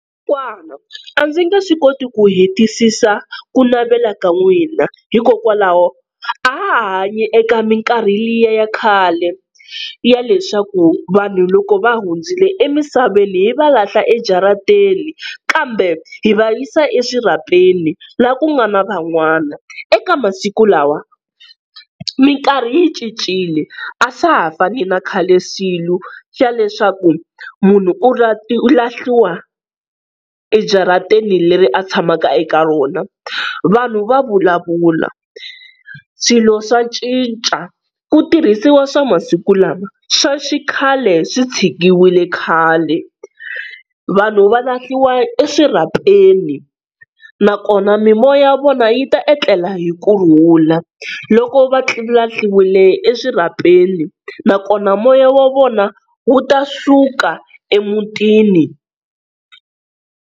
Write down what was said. Kokwana a ndzi nge swi koti ku hetisisa ku navela ka n'wina, hikokwalaho a ha ha hanyi eka minkarhi liya ya khale ya leswaku vanhu loko va hundzile emisaveni hi va lahla ejarateni, kambe hi vayisa exirhapeni laha ku nga na van'wana. Eka masiku lawa minkarhi yi cincile, a swa ha fani na khale swilo xa leswaku munhu u u lahliwa ejaratini leri a tshamaka eka rona, vanhu va vulavula, swilo swa cinca, ku tirhisiwa swa masiku lama, swa xikhale swi tshikiwile khale. Vanhu va lahliwa exirhapeni nakona mimoya ya vona yi ta etlela hi kurhula loko va lahliwile exirhapeni nakona moya wa vona wu ta suka emutini.